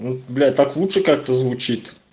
ну блять так лучше как-то звучит